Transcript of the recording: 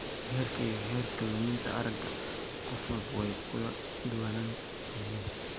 Heerka iyo heerka luminta aragga qof walba way ku kala duwan yihiin.